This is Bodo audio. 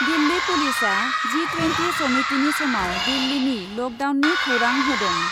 दिल्ली पुलिसआ जि टुयेन्टि समिटिनि समाव दिल्लीनि लकडाउननि खौरां होदों।